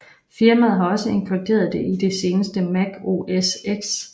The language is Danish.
Firmaet har også inkluderet det i det seneste Mac OS X